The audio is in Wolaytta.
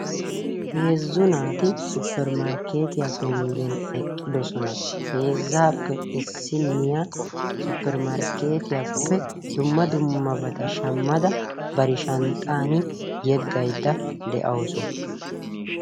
Heezzu naati 'suppermarkketiya' penggeni eqqiddossona. Heezzape issiniyya suppermarkkeetiyaappe dumma dummabatta shamadda bari shanxxani yeggayidda de'awussu.